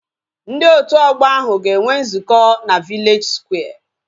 Ndị otu ọgbọ ahu ga enwe nzukọ na vileji skware